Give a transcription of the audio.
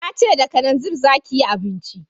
Na ce da kananzir za ki yi abinci